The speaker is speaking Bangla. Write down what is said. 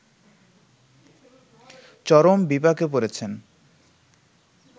চরম বিপাকে পড়েছেন